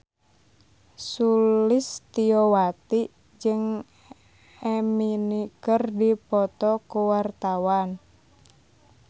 Sulistyowati jeung Eminem keur dipoto ku wartawan